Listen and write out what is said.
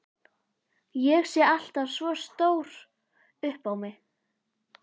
Ég sé alltaf svo stór upp á mig.